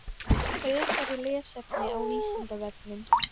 Frekara lesefni á Vísindavefnum: